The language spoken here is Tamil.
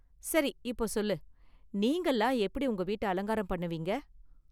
சரி இப்போ சொல்லு, நீங்கலாம் எப்படி உங்க வீட்ட அலங்காரம் பண்ணுவீங்க?